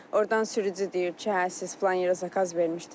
Ordan sürücü deyir ki, hə siz filan yerə zakaz vermişdiz.